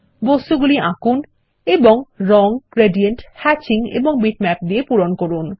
বস্তুগুলি আঁকুন এবং রঙ গ্রেডিয়েন্ট হ্যাচিং এবং বিটম্যাপ দিয়ে পূরণ করুন